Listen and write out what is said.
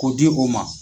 K'o di o ma